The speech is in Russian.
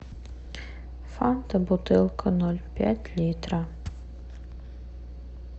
фанта бутылка ноль пять литра